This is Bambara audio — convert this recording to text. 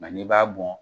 n'i b'a bɔn